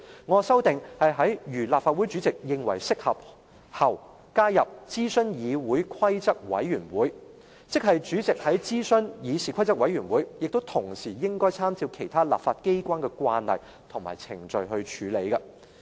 "我的修訂是在"如立法會主席認為適合，可"後，加入"諮詢議事規則委員會及"，即主席要諮詢議事規則委員會，同時亦應參照其他立法機關的慣例及程序處理。